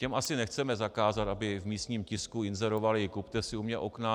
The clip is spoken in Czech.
Těm asi nechceme zakázat, aby v místním tisku inzerovali: Kupte si u mě okna.